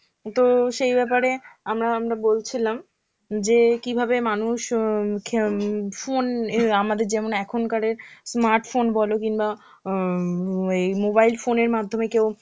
তো সেই ব্যাপারে আমরা আমরা বলছিলাম যে কিভাবে মানুষ অ্যাঁ phone আমাদের যেমন অ্যাঁ এখনকারের smart phone বলো কিংবা অ্যাঁ mobile phone এর মাধ্যমে কেউ